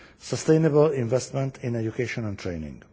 sustainable investment in education and training.